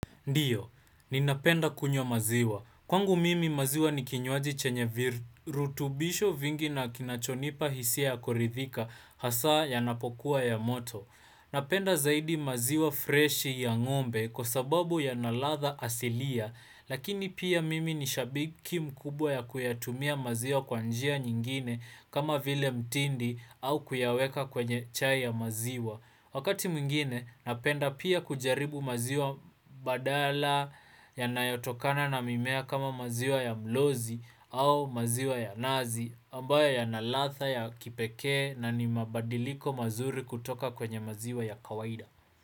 Ndiyo, ninapenda kunywa maziwa. Kwangu mimi maziwa ni kinywaji chenye virutubisho vingi na kinachonipa hisia ya kuridhika hasa yanapokuwa ya moto. Napenda zaidi maziwa fresh ya ngombe kwa sababu yana ladha asilia, lakini pia mimi ni shabiki mkubwa ya kuyatumia maziwa kwa njia nyingine kama vile mtindi au kuyaweka kwenye chai ya maziwa. Wakati mwingine napenda pia kujaribu maziwa badala yanayotokana na mimea kama maziwa ya mlozi au maziwa ya nazi ambayo yana ladha ya kipekee na ni mabadiliko mazuri kutoka kwenye maziwa ya kawaida.